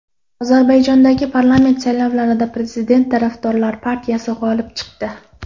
Ozarbayjondagi parlament saylovlarida prezident tarafdorlari partiyasi g‘olib chiqdi.